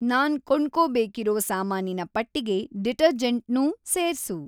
ನಾನ್‌ ಕೊಂಡ್ಕೋಬೇಕಿರೋ ಸಾಮಾನಿನ ಪಟ್ಟಿಗೆ ಡಿಟರ್ಜೆಂಟ್‌ನೂ ಸೇರ್ಸು